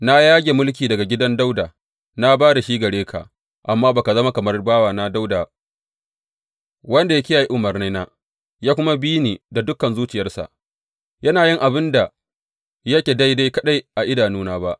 Na yage mulki daga gidan Dawuda na ba da shi gare ka, amma ba ka zama kamar bawana Dawuda wanda ya kiyaye umarnaina ya kuma bi ni da dukan zuciyarsa, yana yin abin da yake daidai kaɗai a idanuna ba.